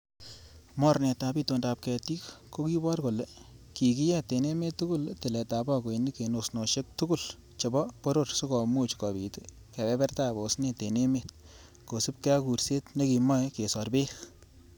Mornetab itondab ketik kokibor kole kikiyet en emet tugul tiletab bagoinik en osnosiek tugul chebo boror sikomuch kobit kebebertab osnet en emet ,kosiibge ak kuurset nekimoe kesor beek.